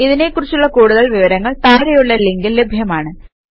ഇതിനെ കുറിച്ചുള്ള കൂടുതൽ വിവരങ്ങൾ താഴെയുള്ള ലിങ്കിൽ ലഭ്യമാണ്